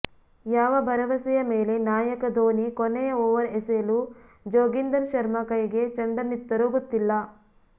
ಯಾವ ಭರವಸೆಯ ಮೇಲೆ ನಾಯಕ ಧೋನಿ ಕೊನೆಯ ಓವರ್ ಎಸೆಯಲು ಜೋಗಿಂದರ್ ಶರ್ಮ ಕೈಗೆ ಚೆಂಡನ್ನಿತ್ತರೋ ಗೊತ್ತಿಲ್ಲ